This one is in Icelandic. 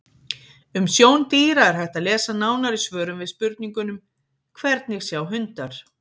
Um sjón dýra er hægt að lesa nánar í svörum við spurningunum: Hvernig sjá hundar?